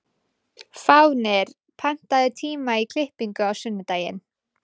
Fáfnir, pantaðu tíma í klippingu á sunnudaginn.